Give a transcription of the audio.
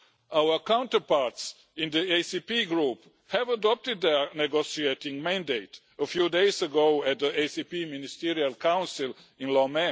Our counterparts in the ACP group adopted their negotiating mandate a few days ago at the ACP Ministerial Council in Lomé.